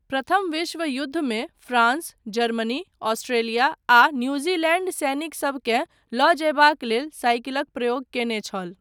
प्रथम विश्व युद्धमे फ्रांस, जर्मनी, ऑस्ट्रेलिया आ न्यूजीलैंड सैनिकसबकेँ लऽ जयबाक लेल साइकिलक प्रयोग कयने छल।